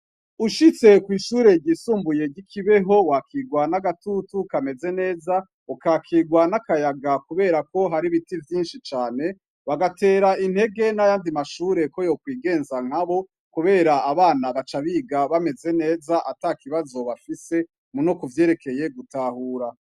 Ushitse kw'ishure ryisumbuye ry'i Kibeho, wakirwa n'agatutu kameze neza, ukakirwa n'akayaga kubera ko hari ibiti vyinshi cane, bagatera intege n'ayandi mashure ko yokwigenza nkabo, kubera abana baca biga bameze neza atakibazo bafise no kuvyerekeye gutahura.